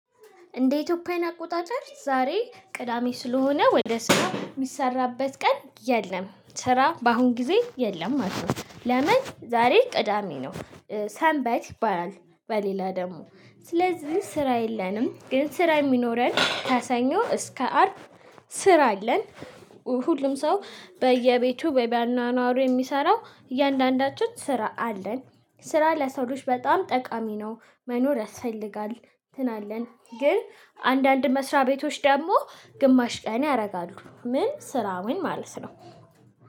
እንደ ኢትዮጵያዊን አቆጣጠር ዛሬ ቅዳሜ ስለሆነ ወደ ስራ የሚሰራበት ቀን የለም ስራ በአሁን ጊዜ የለም ማለት ነው። ለምን ዛሬ ቅዳሜ ነው? ሰንበት ይባላል በሌላ ደግሞ ስለዚህ ስራ የለንም። ግን ስራ የሚኖረን ከሰኞ እስከ አርብ። ስራ አለን። ሁሉም ሰው በየቤቱ ባኗኗሩ የሚሰራው እያንዳንዳችን ስራ አለን። ስራ ለሰው ልጅ በጣም ጠቃሚ ነው። መኖር ያስፈልጋል እንትን አለን ግን። አንዳንድ መስሪያ ቤቶች ደግሞ ግማሽ ቀን ያደርጋሉ። ምን ስራውን ማለት ነው?